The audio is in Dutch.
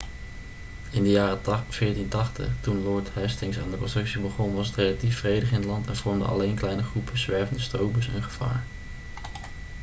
in de jaren 1480 toen lord hastings aan de constructie begon was het relatief vredig in het land en vormden alleen kleine groepen zwervende stropers een gevaar